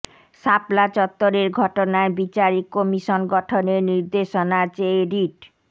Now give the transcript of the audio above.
শাপলা চত্বরের ঘটনায় বিচারিক কমিশন গঠনের নির্দেশনা চেয়ে রিট